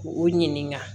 U ɲininka